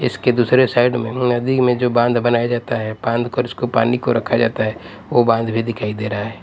इसके दूसरे साइड में नदी में जो बांध बनाया जाता है बांध कर उसको पानी को रखा जाता है वो बांध भी दिखाई दे रहा है।